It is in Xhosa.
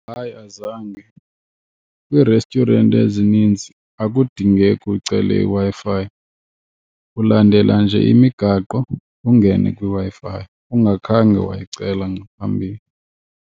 Hayi, azange. Kwii-restaurant ezininzi akudingeki ucele iWi-Fi, ulandela nje imigaqo ungene kwiWi-Fi ungakhange wayicela ngaphambili.